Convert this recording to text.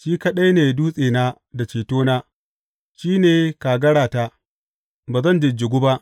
Shi kaɗai ne dutsena da cetona; shi ne kagarata, ba zan jijjigu ba.